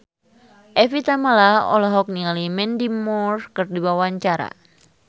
Evie Tamala olohok ningali Mandy Moore keur diwawancara